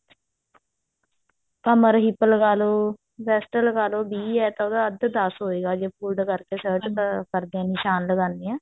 ਕਮਰ hip ਲਗਾ ਲੋ breast ਲਗਾਲੋ ਵੀਹ ਹੈ ਤਾਂ ਉਹਦਾ ਅੱਧ ਦਸ ਹੋਇਗਾ ਜੇ fold ਕਰਕੇ shirt ਕਰਦੇ ਹਾਂ ਨਿਸ਼ਾਨ ਲਗਾਉਣੇ ਹਾਂ